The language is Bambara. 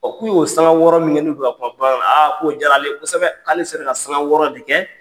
O k'u y'o sanga wɔɔrɔ min kɛ n'u bƐ ka kuma bamamankan na k'o diyara ale ye kossɛbɛ.